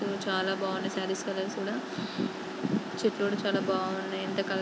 view చాలా బాగుంది saris colour కూడా చెట్లు కూడ చాలా బావున్నాయి ఇంత కలర్ --